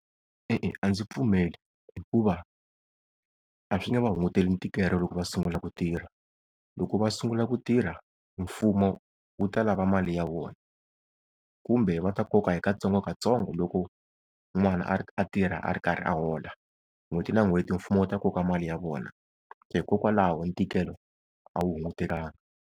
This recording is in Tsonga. E-e a ndzi pfumeli hikuva a swi nge va hunguteli ntikelo loko va sungula ku tirha. Loko va sungula ku tirha mfumo wu ta lava mali ya wona. Kumbe va ta koka hi katsongokatsongo loko n'wana a tirha a ri karhi a hola, n'hweti na n'hweti mfumo wu ta koka mali ya vona, hikokwalaho ntikelo a wu hungutekanga.